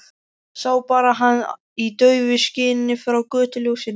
Sá bara hann í daufu skini frá götuljósinu.